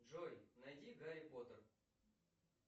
джой найди гарри поттер